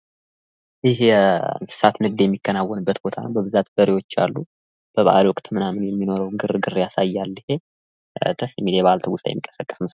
ይህ የእንስሳት ንግድ የሚከናወንበት ቦታ ነው በብዛት በሬዎች አሉ በበአሉ ወቅት ያለውን ግርግር ያሳያል ይሄ ደስ የሚል የበአል ትውስታን የሚቀሰቅስ ነው።